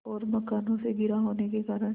और मकानों से घिरा होने के कारण